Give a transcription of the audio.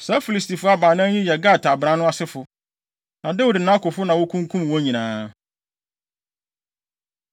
Saa Filistifo abran baanan yi yɛ Gat abran no asefo. Na Dawid ne nʼakofo na wokunkum wɔn nyinaa.